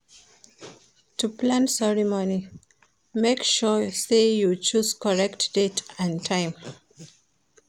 To plan ceremony make sure say you choose correct date and time